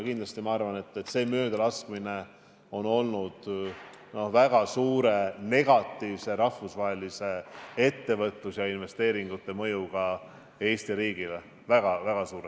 Ent on kindel, et see möödalaskmine on rahvusvahelise ettevõtluse ja investeeringute seisukohalt Eesti riigile väga negatiivselt mõjunud.